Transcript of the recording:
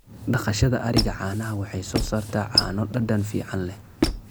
Dhaqashada ariga caanaha waxay soo saartaa caano dhadhan fiican leh.